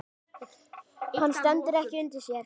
Hann stendur ekki undir sér.